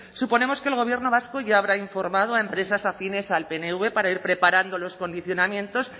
suponemos que el gobierno vasco ya habrá informado a empresas afines al pnv para ir preparando los condicionamientos